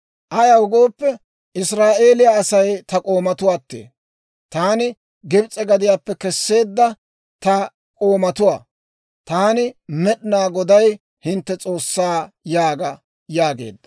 Ayaw gooppe, Israa'eeliyaa Asay ta k'oomatuwaatee; taani Gibs'e gadiyaappe Kesseedda ta k'oomatuwaa. Taani, Med'inaa Goday, hintte S'oossaa› yaaga» yaageedda.